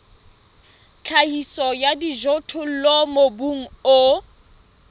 tlhahiso ya dijothollo mobung o